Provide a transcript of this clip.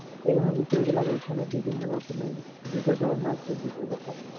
বিভিন্ন রকম দুইটা ঝর্ণা আছে দুইটা ঝর্ণা